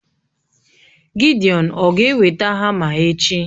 Gidiọn ọ̀ ga-eweta hama echi?